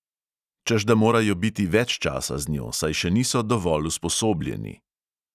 Češ da morajo biti več časa z njo, saj še niso dovolj usposobljeni …